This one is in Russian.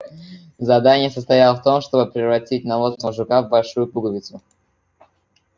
задание состояло в том чтобы превратить навозного жука в большую пуговицу